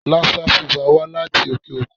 Lassa fever wá láti òkè-òkun.